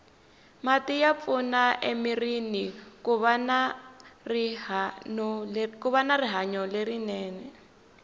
mati ya pfuna emirini kuva na rihanolerinene